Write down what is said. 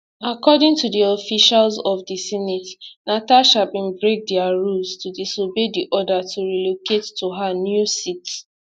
according to officials of di senate natasha bin break dia rules to disobey di order to relocate to her new seat